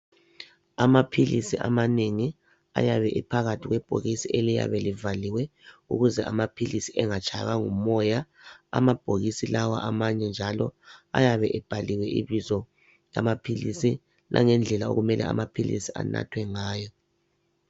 Amaphilisi amanengi ayabe ephakathi kwebhokisi eliyabe livaliwe ukuze amaphilisi engatshaywa ngumoya amabhokisi lawa amanye njalo ayabe ebhaliwe ibizo lamaphilisi langendlela amaphilisi okumele anathwe ngayo.